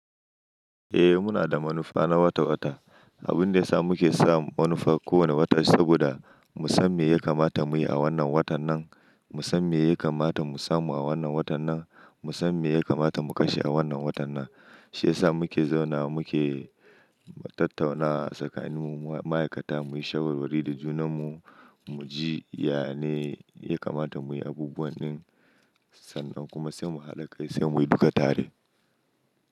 Eh muna da manufa na wata-wata. Abun da ya sa muke sa manufa kowane wata saboda mu san me ya kamata muyi a wannan watan nan, mu san me ya kamata mu samu a wannan watan nan, mu san me ya kamata mu kashe a wannan watan nan. Shi ya sa muke zauna muke tattauna tsakanin mu ma'aikata muyi shawarwari da junan mu, muji yana ya kamata muyi abubuwanin sannan kuma sai mu haɗa kai sai muyi duka tare.